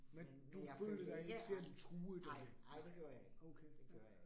Men du følte dig ikke særlig truet af det? Nej, okay